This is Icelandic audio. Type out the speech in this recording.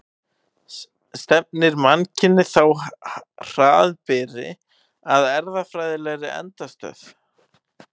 Stefnir mannkynið þá hraðbyri að erfðafræðilegri endastöð?